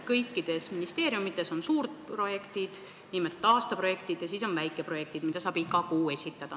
Kõikides ministeeriumides on suurprojektid, nimelt aastaprojektid, ja ka väikeprojektid, mida saab iga kuu esitada.